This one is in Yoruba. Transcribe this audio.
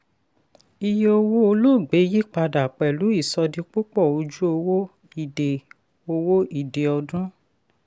iye owó olóògbé yipada pẹ̀lú ìsọdipúpọ̀ ojú owó ìdè owó ìdè ọdún.